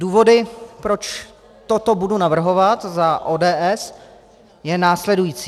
Důvod, proč toto budu navrhovat za ODS, je následující.